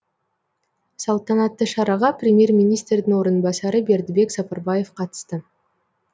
салтанатты шараға премьер министрдің орынбасары бердібек сапарбаев қатысты